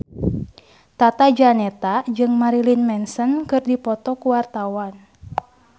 Tata Janeta jeung Marilyn Manson keur dipoto ku wartawan